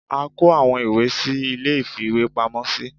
a kọ awọn ìwé sí ìlé ìfíwepámọ sí.